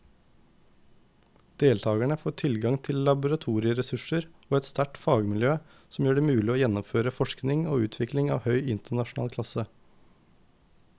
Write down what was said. Deltakerne får tilgang til laboratorieressurser og et sterkt fagmiljø som gjør det mulig å gjennomføre forskning og utvikling av høy internasjonal klasse.